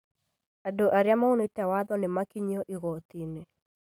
Andũ arĩa maunĩte watho nĩmakinyĩtio igoti-inĩ